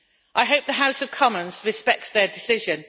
I hope the House of Commons respects their decision.